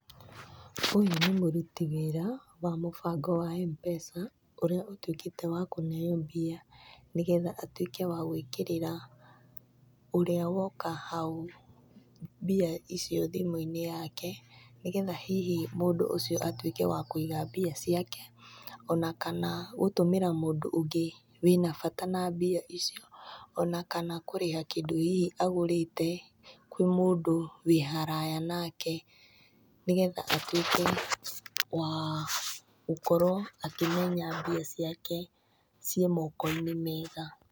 Ũyũ nĩ mũruti wĩra wa mũbango wa Mpesa, ũrĩa ũtuĩkĩte wa kũneyo mbia, nĩgetha atuĩke wa gwĩkĩrĩra ũria woka hau mbia icio thimũ-inĩ yake, nĩgetha hihi mũndũ ũcio atũĩke wa kũiga mbia ciake, ona kana gũtũmĩra mũndũ ũngĩ wĩna na bata na mbia icio, ona kana kũrĩha kĩndũ hihi agũrĩte, kwĩ mũndũ wĩ haraya nake nĩgetha atuĩke wa gũkorwo akĩmenya mbia ciake ciĩ moko-inĩ mega.